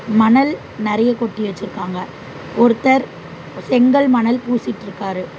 மணல் நறைய கொட்டி வச்சிருக்காங்க ஒருத்தர் செங்கல் மணல் பூசிட்டிருக்காரு.